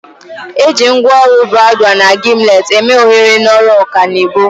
Eji ngwaọrụ bradwal na gimlet eme oghere n'ọrụ ọkanibo.